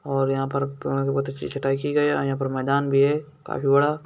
और यहाँ पर पेड की छटाई की गई है और यहाँ पर मैदान भी है काफी बड़ा |